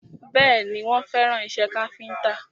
Bẹ́ẹ̀ni, wọ́n fẹ́ràn ìṣe káfíntà